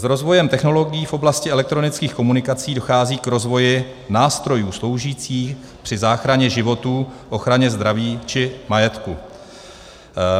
S rozvojem technologií v oblasti elektronických komunikací dochází k rozvoji nástrojů sloužících při záchraně životů, ochraně zdraví či majetku.